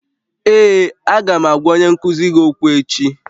Ee, Aga m agwa onye nkuzi gị okwu echi